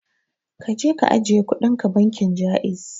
Kaje ka ajiye kudinka bankin Ja'iz.